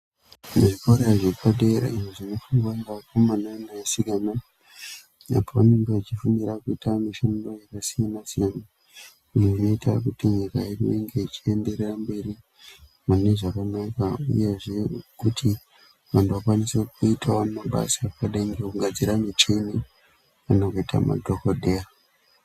Zvikora zvepadera izvo zvinofunda ngevakomana nevasikana apo vanenge vachifundira kuita mishando yakasiyana siyana iyo inoita kuti nyika yedu inge ichienderera mberi mune zvakanaka uyezve kuti vantu vakwanise kuitawo mabasa akadai ngekugadzire muchini kana kuita madhokodheya.